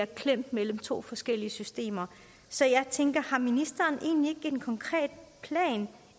klemt mellem to forskellige systemer så jeg tænker har ministeren egentlig ikke en mere konkret plan